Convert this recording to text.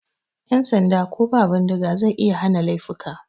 Yan sanda ko ba bindiga zai iya hana laifuka.